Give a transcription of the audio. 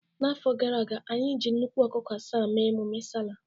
N'afọ gara aga, anyị na-eji nnukwu ọkụkọ asaa eme ememe sallah